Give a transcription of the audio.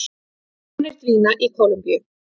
Vonir dvína í Kólumbíu